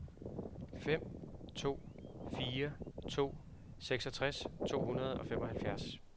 fem to fire to seksogtres to hundrede og femoghalvfjerds